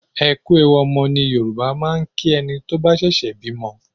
"Ẹ kú ewu ọmọ" ni Yorùbá máa ń kí ẹni tó bá ṣẹ̀ṣẹ̀ bímọ.